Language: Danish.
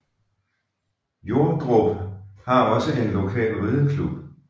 Jordrup har også en lokal rideklub